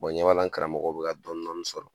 ɲɛ b'a la n karamɔgɔ bɛ ka dɔn dɔni sɔrɔ